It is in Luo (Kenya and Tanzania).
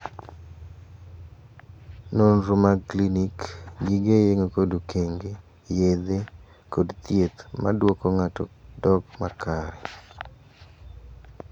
Nonro mag klinik, gige yeng'o kod okenge, yedhe, kod thieth ma duoko ng'ato dok makare.